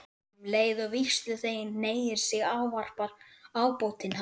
Um leið og vígsluþeginn hneigir sig ávarpar ábótinn hann